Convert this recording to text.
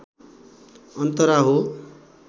अन्तरा हो